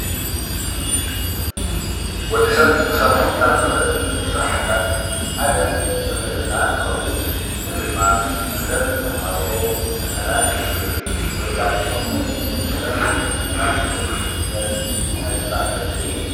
ወዲ ሰብ ክሰርሖም ካብ ዝክእል ስራሕቲታት ሓደ መምህርና እንትኸውን፤ እዚ ድማ መምህር ንተምሃርኡ ፈተና እንትፍትን ወይ ከዓ ብኮምፒተር ዝተደገፈ ፈተና እንትህብ ዘርኢ ናይ ስራሕ ዘርፊ እዩ፡፡